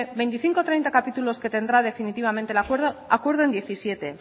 veinticinco o treinta capítulos que tendrá definitivamente el acuerdo acuerdo en diecisiete